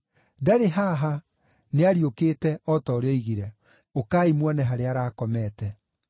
Ndarĩ haha, nĩariũkĩte, o ta ũrĩa oigire. Ũkai muone harĩa arakomete.